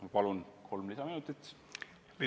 Ma palun kolm lisaminutit!